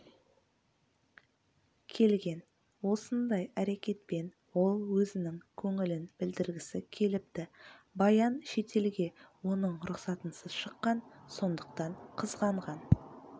келген осындай әрекетпен ол өзінің көңілін білдіргісі келіпті баян шетелге оның рұқсатынсыз шыққан сондықтан қызғанған